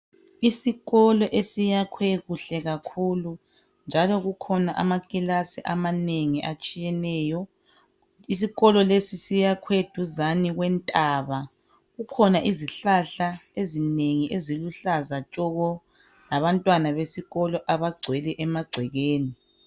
Isikolo esiyakhwe kuhle kakhulu njalo kukhona amakilasi amanengi atshiyeneyo, isikolo lesi siyakhwe eduzane kwentaba kukhona izihlahla ezinengi eziluhlaza tshoko labantwana besikolo abagcwele emagcekeni.